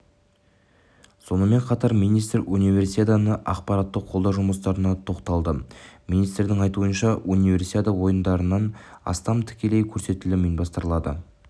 сонымен қатар министр универсиаданы ақпараттық қолдау жұмыстарына тоқталды министрдің айтуынша универсиада ойындарынан астам тікелей көрсетілім ұйымдастырылады